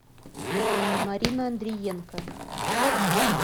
марина андриенко